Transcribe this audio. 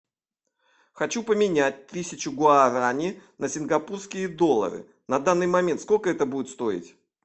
хочу поменять тысячу гуарани на сингапурские доллары на данный момент сколько это будет стоить